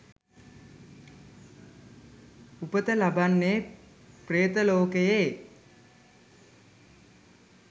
උපත ලබන්නේ ප්‍රේත ලෝකයේ.